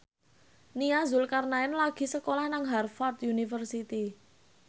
Nia Zulkarnaen lagi sekolah nang Harvard university